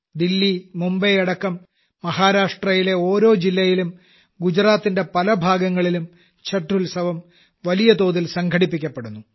ദില്ലി മുംബൈ അടക്കം മഹാരാഷ്ട്രയിലെ ഓരോ ജില്ലയിലും ഗുജറാത്തിന്റെ പല ഭാഗങ്ങളിലും ഛഠ് ഉത്സവം വലിയതോതിൽ സംഘടിപ്പിക്കപ്പെടുന്നു